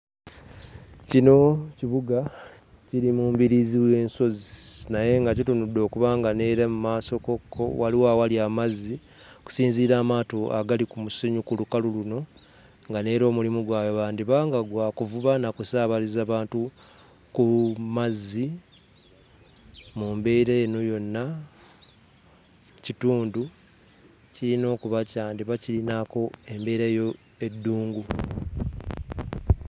Kino kibuga kiri mu mbiriizi w'ensozi naye nga kitunudde okuba nga n'era mu maasokokko waliwo awali amazzi okusinziira ku maato agali mu musenyu ku lukalu luno. Nga n'era omulimu gwabwe gwandiba nga bakola gwa kuvuba na kusaabaza bantu ku mazzi. Mu mbeera eno yona ekitundu kyandiba nga kirinako embeera ey'eddungu.